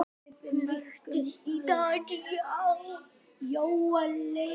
Hann ríkti í tíu ár.